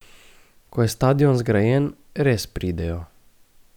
Ko je stadion zgrajen, res pridejo.